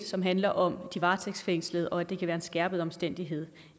som handler om de varetægtsfængslede og at det kan være en skærpende omstændighed